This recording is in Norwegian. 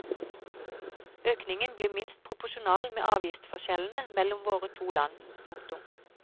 Økningen blir minst proporsjonal med avgiftsforskjellene mellom våre to land. punktum